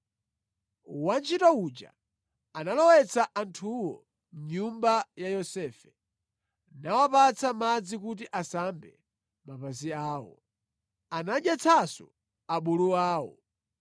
Wantchito uja anawalowetsa anthuwo mʼnyumba ya Yosefe, nawapatsa madzi kuti asambe mapazi awo. Anadyetsanso abulu awo.